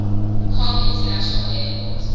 kong international airport